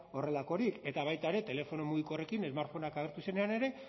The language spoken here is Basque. horrelakorik eta baita ere telefono mugikorrekin smartphoneak agertu zirenean ere